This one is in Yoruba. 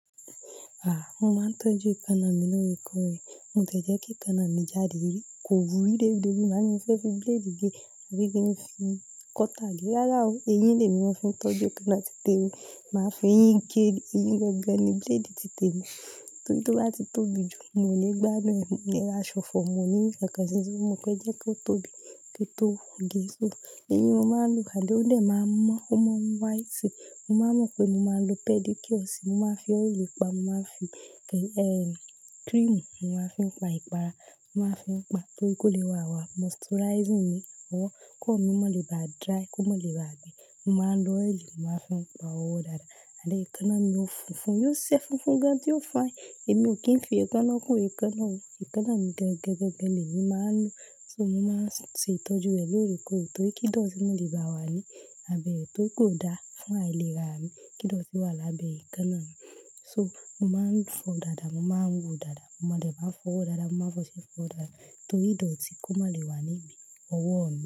Mo máa ń tọ́jú ikanna mi lóòrèkóòrè. Mo ti ẹ́ jẹ́ kí ikanna mi jáde rí, kò wúrí débi débi. Má ni mí fé fi blade gé àbí kí n fi cutter gé. Rárá o, eyín lè mi mò fi ń tọ́jú ikanna tí tẹ mi. Màá fi eyín gé e, eyín gangan ni blade titẹ mi. Torí tó bá ti tóbi jù, mi o le gbádùn ẹ́ mọ́, ó lè ra ṣọ̀fọ̀ mọ́ ní ṣàkànsì. Mo pẹ́ jẹ́ kó tóbi kí ó tó wù mí gẹ́gẹ́. Eyín mo máa ń lo, àdí ó lè máa mọ́, ó máa ń white. Mo máa mọ̀ pé mo máa lo pedi cure sì, mo máa fi oil pa, mo máa fi cream, mo máa fi pa ìpara, mo máa fi pa torí kó le wà wà. Moisturizing ni ọwọ́ kó má lè ba dry, kó má lè ba gbe. Mo máa ń lo oil, mo máa fi pa ọwọ́ dáadáa. Àdí ikanna mi ó funfun, yóò ṣe funfun gan tí yóò fine. Èmi ò kí ń fi ekanna kún ekanna o. Ekanna mi gangan, gangan lè mi máa ń lo. So mo máa ń ṣe ìtọ́jú rẹ̀ lóorekoore torí kí dọ̀tí má lè bá a wà ní abẹ́ rẹ̀ tóri pe kò dáa fún àìlera mi. Kíndọ̀tí wà lábẹ́ ikanna mi. So mo máa ń fọ dáadáa, mo máa ń wò dáadáa. Mo máa dè máa fọ ọwọ́ dáadáa, mo máa fọṣẹ fọ dáadáa torí ìdọ̀tí kó má lè wà níbi ọwọ́ mi.